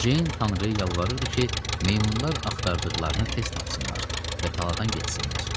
Ceyn tanrıya yalvarırdı ki, meymunlar axtardıqlarını tez tapsınlar və taladan getsinlər.